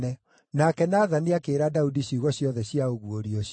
Nake Nathani akĩĩra Daudi ciugo ciothe cia ũguũrio ũcio.